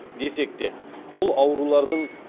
десекте бұл аурулардың